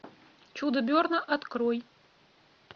чудо берна открой